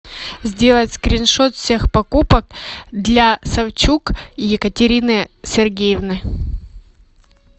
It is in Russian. сделать скриншот всех покупок для савчук екатерины сергеевны